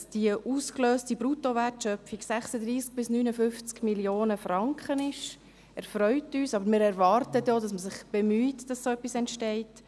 Dass die ausgelöste Bruttowertschöpfung 36–59 Mio. Franken beträgt, erfreut uns, aber wir erwarten dann auch, dass man sich bemüht, dass so etwas entsteht.